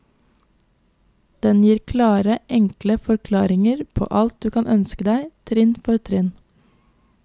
Den gir klare, enkle forklaringer på alt du kan ønske deg, trinn for trinn.